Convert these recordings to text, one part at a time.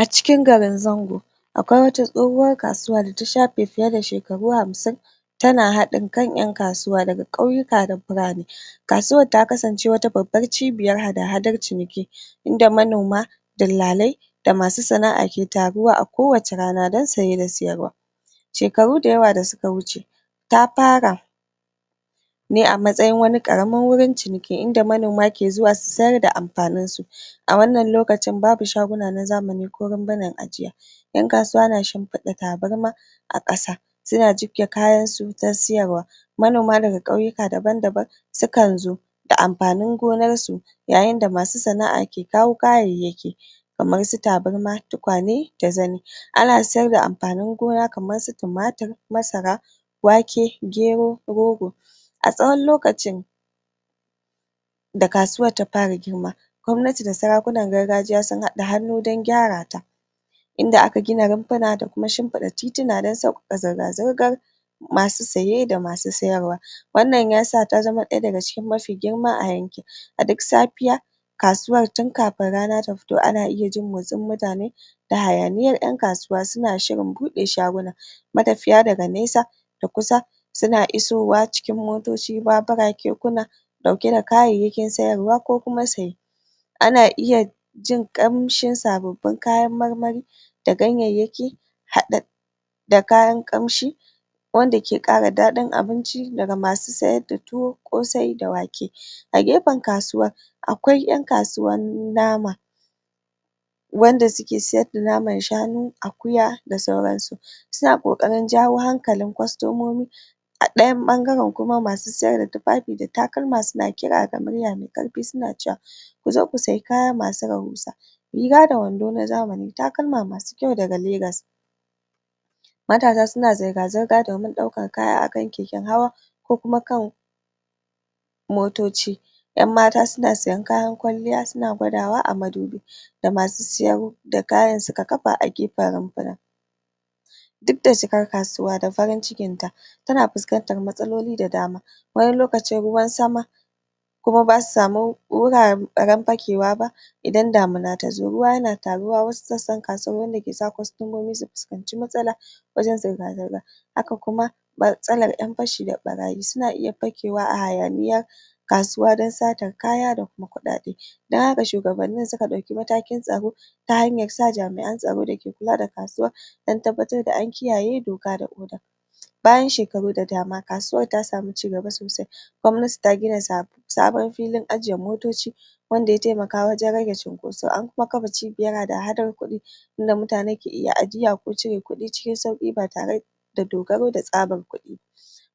a cikin garin zango akwai wata tsohuwar da ta shafe fiye da shekaru hamshin tana hadin kan ƴan kasuwa ƙauyika da birane kasuwar ta kasance wata babbar cibiyar hada hadar ciniki da manoma dillalai da masu sana'a ke taruwa a kowacce rana dan siye da sayarwa shekaru da yawa da suka wuce ta fara ne a matsayin wani karamin ciniki inda manoma ke sayar da amfaninsu a wannan lokacin babu shaguna na zamani ko runfunan ajiya ƴan kasuwa na shinfiɗa tabarma a kasa suna jibge kayansu dan siyarwa manoma daga ƙauyika daban daban sukan zo da amfanin gonarsu yayin da masu sana'a ke kawo kayayyaki kamarsu tabarma tukwane da zani ana siyar da amfanin gona kamarsu tumator masara wake gero rogo a tsawan lokacin da kasuwar ta fara girma gwamnati da sarakunan gargajiya sun haɗa hannu gurin gyara ta dan gyarata inda aka gina runfuna da kuma shinfiɗa titina dan sauƙaƙa zirga zirgar masu siye da masu siyarwa wannan yasa ta zama ɗaya daga cikin mafi girma a yankin a duk safiya kasuwar tun kafin rana ta fito ana iya jin motsin mutane da hayaniyar yan kasuwa suna shirin buɗe shaguna ma tafiya daga nesa da kusa suna isowa cikin motoci babura kekuna ɗauke da kayayyakin sayarwa ko kuma saye ana iya jin kamshin sababbin kayan marmari da ganyayyaki haɗi da kayan ƙamshi wanda ke ƙara dadin abinci daga masu sayar da tuwo ƙosai da wake a gefen kasuwar akwai ƴan kasuwar nama wanda suke sayar da naman shanu akuya da sauransu suna ƙoƙarin jawo hankalin kwastomomi a ɗayan ɓangaran kuma masu siyar da tifafi takalma suna kira da murya me ƙarfi suna cewa ko zo ko siya kaya masu rahusa riga da wando na zamani takalla masu ƙyau daga legas matsa suna zirga zirga domin daukan kaya akan keken hawa ko kuma motoci ƴan mata suna siyan kayan kwalliya suna gwadawa a madu bi da masu siyan da kayan suka kafa a gefen runfuna duk da cikar kasuwa da farin cikinta tana fuskantar matsaloli da dama wani lokacin ruwan sama kuma basu samu wuraran fakewa ba idan damuna tazo ruwa yana taruwa wasu sassan kasuwar wanda kesa kwastomomi su fuskanci matsala wajan zirga zirga haka kuma haka kuma matsalar yan fashi da ɓaraye suna iya fakewa a hayaniya a kasuwa dan satar kayayyaki da kuma ku ɗa ɗe dan haka shugabannin suka dauke matakin tsaro ta hanyarsa jami'an tsoro dake kula da kasuwar dan tabbatar da an kiyaye doka da oda bayan shekaru da dama kasuwar ta samu cigaba sosai gwamnati ta gina sa sabon filin ajje motoci wanda ya taimaka wajan rage cunkoso da kuma kafa cibiyar hada hadar ku ɗi wanda mutane ke iya ajiya ko cire ku ɗi cikin sauki ba tare da dogaro da tsabar kudi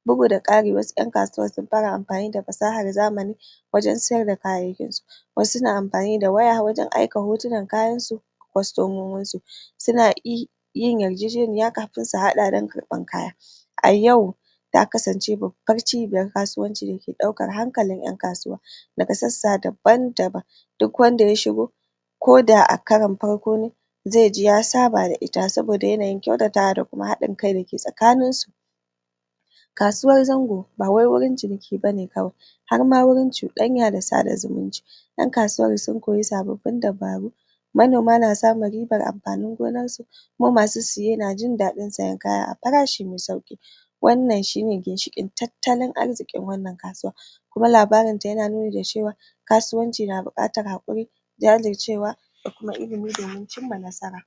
bugu da ƙari wasu ƴan kasuwar sun fara amfani da fasahar zamani wajan siyar da kayayyakinsu wasu suna amfani da waya wajan aiki hotonan kayansu ga kwastomominsu suna iya yin yarjejeniya kafin su haɗa dan kar ɓar kaya a yau ta kasance babbar cibiyar kasuwanci dake ɗaukar hankalin manyan ƴan kasuwa daga sassa daban daban duk wanda ya shigo ko da a karan farko ne zaiji ya saba da iya saboda yanayin kyautatawa da kuma hadin kai dake tsakaninsu kasuwar zango bawai gurin ciniki bane kawai harma gurin cudanya da sada zumunci yan kasuwar sun koyi sababbin dabaru manoma na samun ribar amfanin gonarsu kuma masu siye na jindadin sayan kaya a farashi me sauki wannan shine ginshiƙin tattalin arzikin wannan kasuwa kuma labarinta yana nuni da cewa kasuwanci na bukatar hakuri jajircewa da kuma ilimi domin cinma nasara.